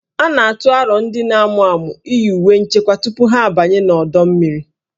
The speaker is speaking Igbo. A na-atụ aro ndị na-amụ amụ iyi uwe nchekwa tupu ha abanye n'ọdọ mmiri